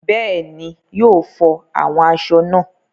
Bẹ́ẹ̀ni, yóò flọ àwọn aṣọ náà.